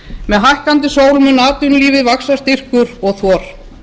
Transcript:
með hækkandi sól mun atvinnulífi vaxa styrkur og þor